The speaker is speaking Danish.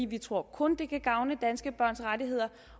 vi tror kun det kan gavne danske børns rettigheder